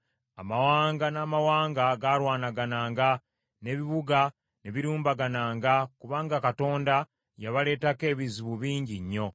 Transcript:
Amawanga n’amawanga gaalwanagananga, n’ebibuga ne birumbagananga kubanga Katonda yabaleetako ebizibu bingi nnyo.